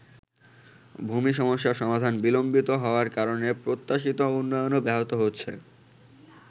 ভূমি সমস্যার সমাধান বিলম্বিত হওয়ার কারণে প্রত্যাশিত উন্নয়নও ব্যাহত হচ্ছে।